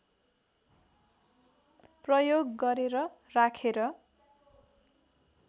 प्रयोग गरेर राखेर